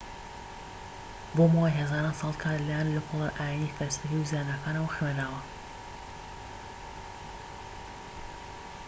بۆ ماوەی هەزاران ساڵ کات لە لایەن لێکۆڵەرە ئاینیی فەلسەفی و زاناکانەوە خوێندراوە